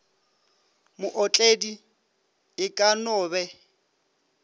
mootledi e ka no be